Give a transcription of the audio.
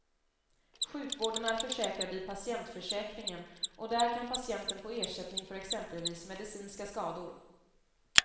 Sjukvården är försäkrad i patientförsäkringen och där kan patienten få ersättning för exempelvis medicinska skador.